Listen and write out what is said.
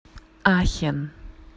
ахен